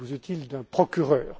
Busuttil d'un procureur.